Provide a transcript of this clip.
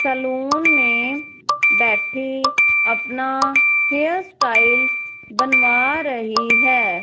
Salon में बैठे अपना हेयर स्टाइल बनवा रही है।